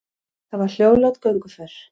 Það var hljóðlát gönguför.